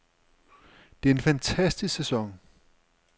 Det er en fantastisk sæson.